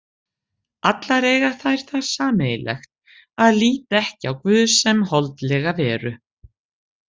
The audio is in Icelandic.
Allar eiga þær það sameiginlegt að líta ekki á guð sem holdlega veru.